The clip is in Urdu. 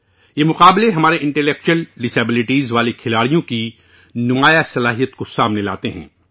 یہ مقابلہ ہمارے انٹیلیکچول ڈسیبلٹیز والے ایتھلیٹوں کی بے پناہ صلاحیت کو سامنے لاتا ہے